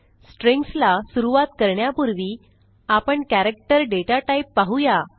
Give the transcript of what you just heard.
strings ला सुरूवात करण्यापूर्वी आपण कॅरेक्टर दाता टाइप पाहू या